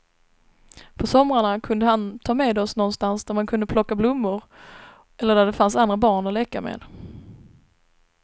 På somrarna kunde han ta med oss någonstans där man kan plocka blommor eller där det finns andra barn att leka med.